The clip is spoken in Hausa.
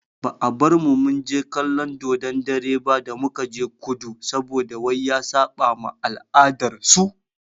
Ba a bar mu munje kallon dodon dare ba da mukaje kudu saboda wai ya saɓa ma al'adar su.